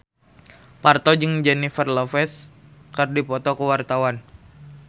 Parto jeung Jennifer Lopez keur dipoto ku wartawan